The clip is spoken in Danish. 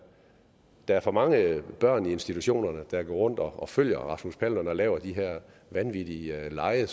der er for mange børn i institutionerne der går rundt og følger rasmus paludan og laver de her vanvittige lege